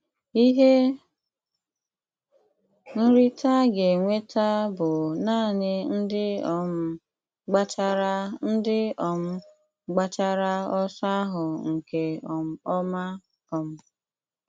Ihe nrite a ga-enweta bụ naanị ndị um gbachara ndị um gbachara ọsọ ahụ nke um ọma. um